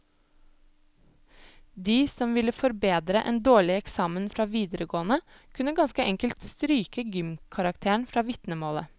De som ville forbedre en dårlig eksamen fra videregående, kunne ganske enkelt stryke gymkarakteren fra vitnemålet.